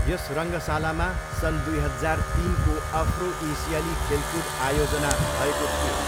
यस रङ्गशालामा सन् दुई हजार तिनको अफ्रो एसियाली खेलकुद आयोजना भएको थियो।